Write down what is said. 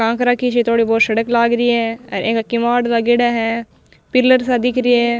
टांक राखी सी थोड़ी बहोत सड़क लाग रही है और एन्का किवाड़ लागेड़ा है पिलर सा दिख रिया है।